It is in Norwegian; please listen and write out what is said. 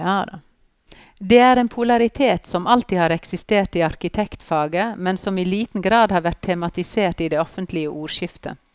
Det er en polaritet som alltid har eksistert i arkitektfaget, men som i liten grad har vært tematisert i det offentlige ordskiftet.